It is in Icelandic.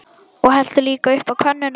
Og helltu líka upp á könnuna.